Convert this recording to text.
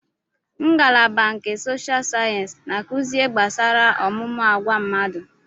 Ngalaba nke sosha sayensị na-akuzi ihe gbasara ọmụmụ agwa mmadụ